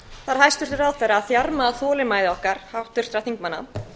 þarf hæstvirtur ráðherra að þjarma að þolinmæði okkar háttvirtra þingmanna